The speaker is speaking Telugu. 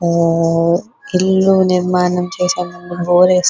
ఇల్లు నిర్మాణం చేసే ముందూ బోర్డు పెటినురు